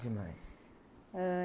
Demais.h...